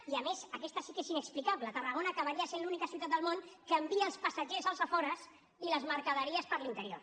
i a més aquesta sí que és inexplicable tarragona acabaria sent l’única ciutat del món que envia els passatgers als afores i les mercaderies per l’interior